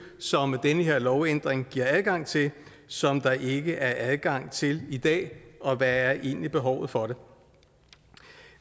som den her lovændring giver adgang til som der ikke er adgang til i dag og hvad er egentlig behovet for det